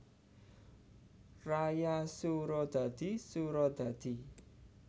Raya Suradadi Suradadi